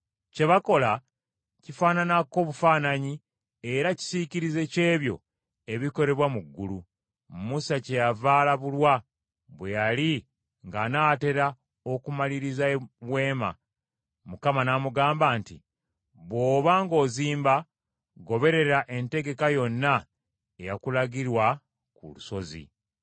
Kye bakola kifaananako bufaananyi era kisiikirize ky’ebyo ebikolebwa mu ggulu. Musa kyeyava alabulwa, bwe yali ng’anaatera okumaliriza weema, Mukama n’amugamba nti, “Bw’oba ng’ozimba, goberera entegeka yonna eyakulagirwa ku lusozi.”